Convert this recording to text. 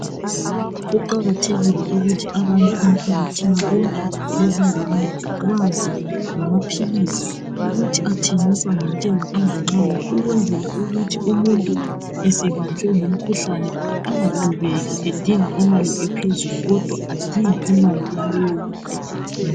Kuqakathekile ukuthi abantu emphakathini konke lezingane bazi ngamaphilisi ukuthi athengiswa ngentengo enganani ukwenzela ukuthi umuntu esebanjwe ngumkhuhlane angadubeki edinga imali ephezulu kodwa adinge eyenelayo.